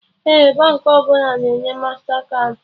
Ee, Baankị ọbụla na-enye mastakaadị